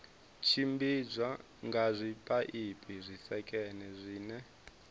tshimbidzwa nga zwipaipi zwisekene zwine